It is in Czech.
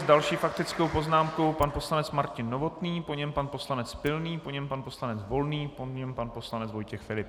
S další faktickou poznámkou pan poslanec Martin Novotný, po něm pan poslanec Pilný, po něm pan poslanec Volný, po něm pan poslanec Vojtěch Filip.